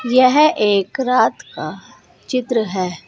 यह एक रात का चित्र है।